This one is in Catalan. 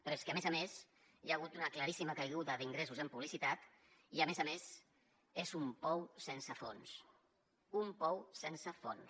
però és que a més a més hi ha hagut una claríssima caiguda d’ingressos en publicitat i a més a més és un pou sense fons un pou sense fons